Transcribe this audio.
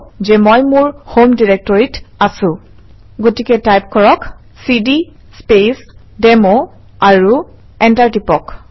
so type cd speech demo and hit Enter গতিকে type কৰক - cd speech demo আৰু enter টিপক